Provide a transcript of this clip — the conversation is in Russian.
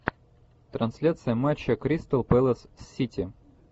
трансляция матча кристал пэлас сити